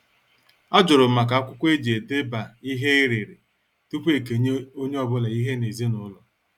Ajurum maka akwụkwọ eji edeba ihe ereree tupu ekenye onye ọbụla ihe ezinaụlọ.